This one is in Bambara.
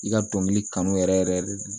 I ka dɔnkili kanu yɛrɛ yɛrɛ